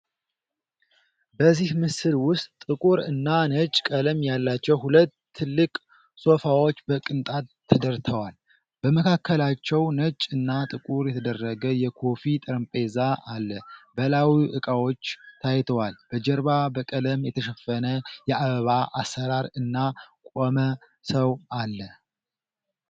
በዚህ ምስል ውስጥ ጥቁር እና ነጭ ቀለም ያላቸው ሁለት ትልቅ ሶፋዎች በቅንጣት ተደርተዋል። በመካከላቸው ነጭ እና ጥቁር የተደረገ የኮፊ ጠረጴዛ አለ፣ በላዩ እቃዎች ታይተዋል። በጀርባ በቀለም የተሸፈነ የአበባ አሰራር እና ቆመ ሰው አለ።